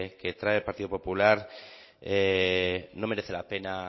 que trae el partido popular no merece la pena